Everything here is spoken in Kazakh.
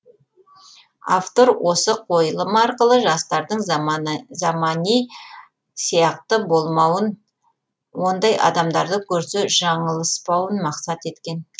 автор осы қойылым арқылы жастардың замани сияқты болмауын ондай адамдарды көрсе жаңылыспауын мақсат еткен